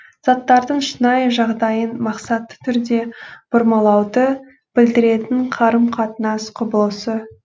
заттардың шынайы жағдайын мақсатты түрде бұрмалауды білдіретін қарым қатынас құбылысы